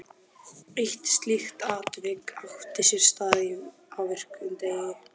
Eitt slíkt atvik átti sér stað á virkum degi.